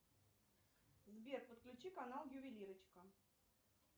сбер подключи канал ювелирочка